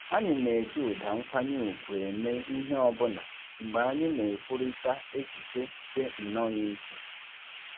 Anyị na-eji ụda nkwanye ùgwù eme ihe ọbụna mgbe anyị na-ekwurịta echiche dị nnọọ iche